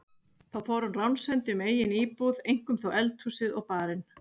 Þá fór hann ránshendi um eigin íbúð, eink- um þó eldhúsið og barinn.